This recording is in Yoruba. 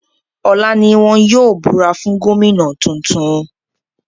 Bẹ́ẹ̀ni, ọ̀la ní wọn yóò búra fún Gómìnà tuntun